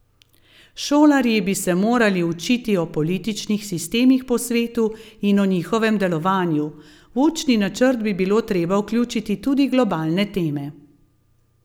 Šolarji bi se morali učiti o političnih sistemih po svetu in o njihovem delovanju, v učni načrt bi bilo treba vključiti tudi globalne teme.